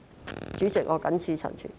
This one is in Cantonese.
代理主席，我謹此陳辭。